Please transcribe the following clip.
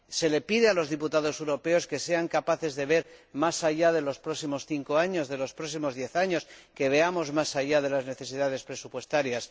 Se les pide a los diputados europeos que sean capaces de ver más allá de los próximos cinco o diez años, que veamos más allá de las necesidades presupuestarias.